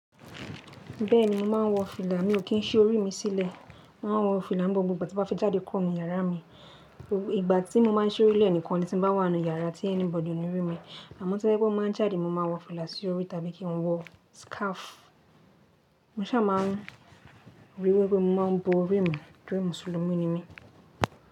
Bẹ́ẹ̀ni, mo máa ń wọ fìlà, mi ò kí ń sí orí mi sílẹ̀. Máa wọ fìlà n gbogbo ìgbà tí bá fi jáde kúrò nínú yàrá mi. Ìgbà tí mo bá ń ṣí orí lé nìkan ni tí n bá wà n nú yàrá tí anybody kò ní rí mi. Àmọ́ tí ye pe máa jáde, mo máa wọ fìlà sí orí tàbí kí n wọ scarf. Mo ṣà máa ń rí wí wípe mo máa ń bo orí mi, torí Mùsùlùmí ni mí.